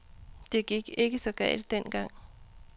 Det gik ikke så galt dengang.